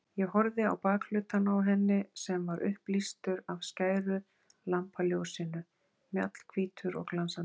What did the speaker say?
Ég horfði á bakhlutann á henni sem var upplýstur af skæru lampaljósinu, mjallhvítur og glansandi.